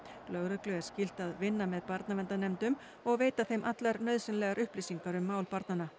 lögreglu er skylt að vinna með barnaverndarnefndum og veita þeim allar nauðsynlegar upplýsingar um mál barnanna